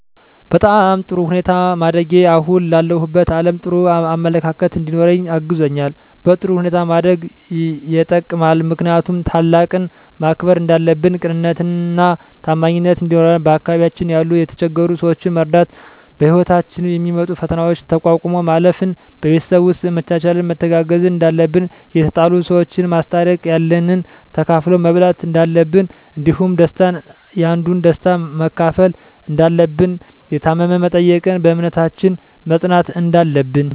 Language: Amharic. በጣም በጥሩ ሁኔታ ማደጌ አሁን ላለሁበት አለም ጥሩ አመለካከት እንዲኖረኝ አግዞኛል በጥሩ ሁኔታ ማደግ የጠቅማል ምክንያቱም ታላቅን ማክበር እንዳለብን ቅንነትና ታማኝነት እንዲኖረን በአካባቢያችን ያሉ የተቸገሩ ሰዎችን መርዳት በህይወታችን የሚመጡ ፈተናዎችን ተቋቁሞ ማለፍ ን በቤተሰብ ውስጥ መቻቻልና መተጋገዝ እንዳለብን የተጣሉ ሰዎችን ማስታረቅ ያለንን ተካፍሎ መብላት እንዳለብን እንዲሁም ደስታን ያንዱን ደስታ መካፈል እንዳለብን የታመመ መጠየቅን በእምነታችን መፅናት እንዳለብን